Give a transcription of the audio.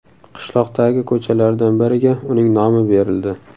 Qishloqdagi ko‘chalardan biriga uning nomi berildi.